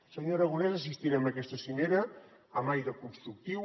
senyor aragonès assistirem a aquesta cimera amb aire constructiu